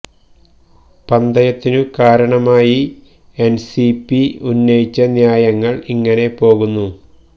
പന്തയത്തിനു കാരണമായി N C P ഉന്നയിച്ച ന്യായങ്ങള് ഇങ്ങനെ പോകുന്നു